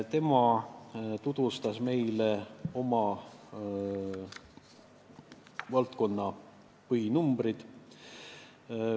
Tema tutvustas meile oma valdkonna põhinumbreid.